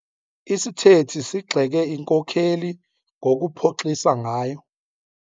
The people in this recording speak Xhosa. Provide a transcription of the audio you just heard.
Isithethi sigxeke inkokeli ngokuphoxisa ngayo.